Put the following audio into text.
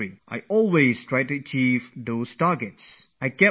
And those were the targets that I would always try to achieve for myself